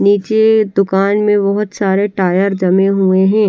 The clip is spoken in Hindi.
नीचे दुकान में बहोत सारे टायर जमे हुवे हैं।